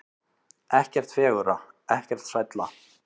Ekkert fegurra, ekkert sælla.